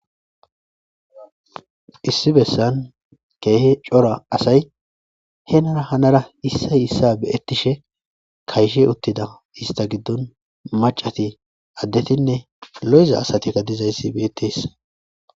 Issi bessan keehe cora asay henara hanara issay issa beettishe kayshe uttida ista giddon macati addetinne lo'iza asatikka dizayssi beyetes.